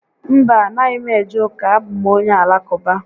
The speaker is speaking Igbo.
Mba, a naghị m eje ụka, a bụ m onye Alakụba